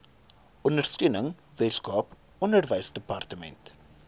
ondersteuning weskaap onderwysdepartement